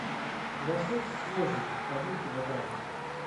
лосось свежий один килограмм